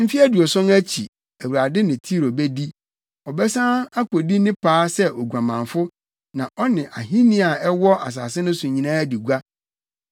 Mfe aduɔson akyi, Awurade ne Tiro bedi. Ɔbɛsan akodi ne paa sɛ oguamanfo na ɔne ahenni a ɛwɔ asase so nyinaa adi gua.